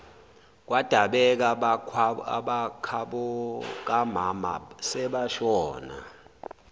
kwadabeka abakhabokamama sebashona